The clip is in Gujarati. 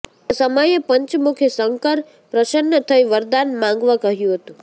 તે સમયે પંચમુખી શંકર પ્રસન્ન થઇ વરદાન માંગવા કહ્યું હતું